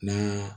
Na